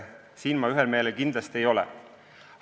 Siin ma teiega kindlasti ühel meelel ei ole.